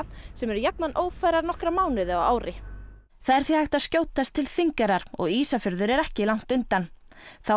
sem eru jafnan ófærar í nokkra mánuði á ári það er því hægt að skjótast til Þingeyrar og Ísafjörður er ekki langt undan þá